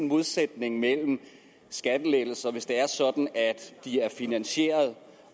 modsætning mellem skattelettelser hvis det er sådan at de er finansieret